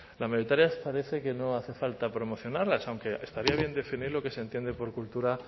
las mayoritarias parece que no hace falta promocionarlas aunque estaría bien definir lo que se entiende por cultura